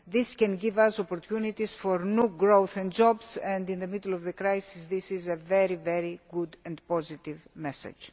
This can give us opportunities for new growth and jobs, and in the middle of the crisis this is a very good and positive message.